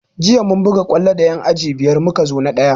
Jiya mun buga kwallo da yan aji biyar muka zo na ɗaya